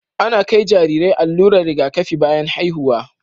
Ana kai Jarirai allurar Riga kafi bayan haihuwa